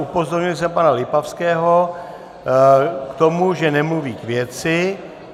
Upozornil jsem pana Lipavského na to, že nemluví k věci.